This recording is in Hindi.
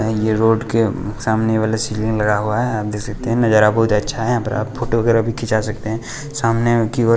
यह रोड के सामने वाला लगा हुआ है आप देख सकते हैं नजारा बहुत अच्छा है यहां पर आप फोटो वगैरह भी खिंचा सकते हैं सामने की और--